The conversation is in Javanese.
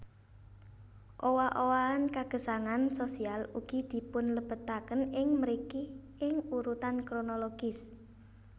Owah owahan kagesangan sosial ugi dipunlebetaken ing mriki ing urutan kronologis